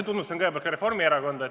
Tunnustan kõigepealt ka Reformierakonda.